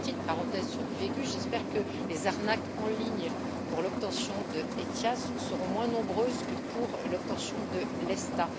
Je fais une petite parenthèse sur du vécu, j'espère que les arnaques en ligne pour l'obtention d'ETIAS seront moins nombreuses que pour l'obtention de l'ESTA.